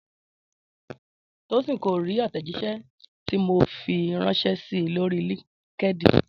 Tósìn kò rí àtẹ̀jíṣẹ́ tí mo fi ránṣẹ́ si lórí LinkedIn